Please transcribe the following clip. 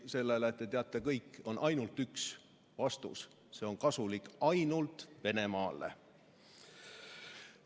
Sellele, te teate kõik, on ainult üks vastus: see on kasulik ainult Venemaale.